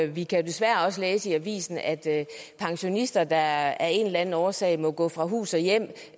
vi kan desværre også læse i avisen at pensionister der af en eller anden årsag må gå fra hus og hjem